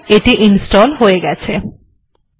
ঠিকআছে এটি হয়ে গেছে